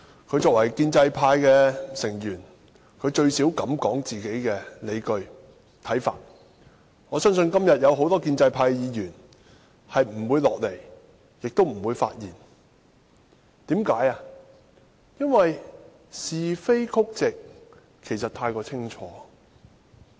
他作為建制派成員，最少他敢提出自己的理據和看法。我相信很多建制派議員今天不會到來會議廳，亦不會發言，因為是非曲直太過清楚。